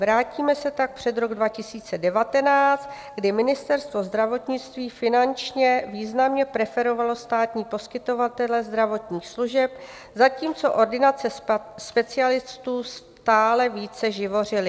Vrátíme se tak před rok 2019, kdy Ministerstvo zdravotnictví finančně významně preferovalo státní poskytovatele zdravotních služeb, zatímco ordinace specialistů stále více živořily.